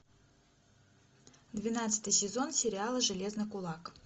двенадцатый сезон сериала железный кулак